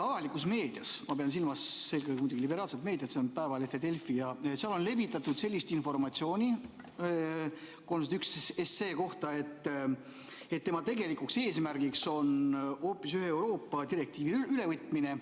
Avalikus meedias – ma pean silmas muidugi liberaalset meediat, Eesti Päevalehte ja Delfit – on levitatud 301 SE kohta sellist informatsiooni, et selle tegelikuks eesmärgiks on hoopis ühe Euroopa direktiivi ülevõtmine.